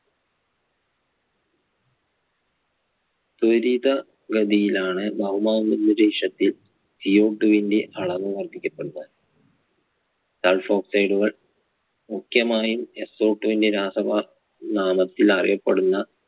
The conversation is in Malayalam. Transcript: ദുരിത ഗതിയിലാണ് ഭൗമാന്തരീക്ഷത്തിൽ Co two ന്റെ അളവ് വർദ്ധിക്കപ്പെടുന്നത്. sulfoxide കൾ മുഖ്യമായും so two ന്റെ രാസനാമത്തിൽ അറിയപ്പെടുന്ന